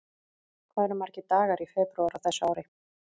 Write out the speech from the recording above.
Hvað eru margir dagar í febrúar á þessu ári?